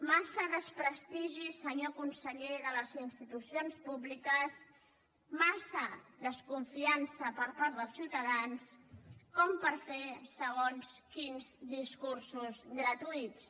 massa desprestigi senyor conseller de les institucions públiques massa desconfiança per part dels ciutadans com per fer segons quins discursos gratuïts